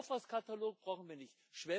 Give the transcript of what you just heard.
Einen Kaufhauskatalog brauchen wir nicht.